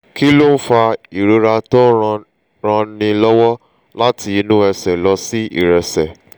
kí ló ń fa ìrora tó ń ranni lọ́wọ́ láti inú ẹsẹ̀ lọ sí ìrẹsẹ̀?